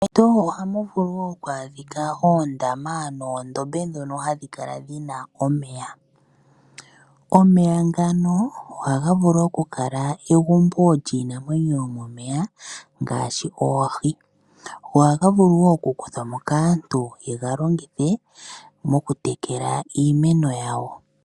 Meshito ohamu vulu wo okwaadhika oondama noondombe ndhono hadhi kala omeya. Omeya ngano ohaga vulu okukala egumbo lyiinamwenyo yomomeya ngaashi oohi. Ohaga vulu wo okukuthwa mo kaantu yega longithe mokutekela iimeno yawo.